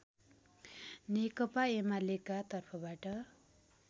नेकपा एमालेका तर्फबाट